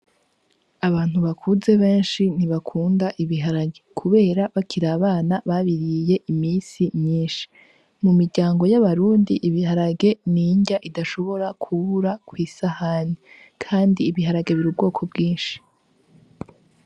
Abantu bakuze benshi nt'ibakunda ibiharage kubera bakiri abana babiriye iminsi myinshi, mu miryango y'abarundi ibiharage n'inrya idashobora kubura kw'isahani. Kandi ibiharage biri m'ubwoko bwinshi.